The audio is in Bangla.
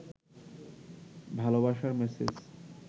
ভালবাসার মেসেজ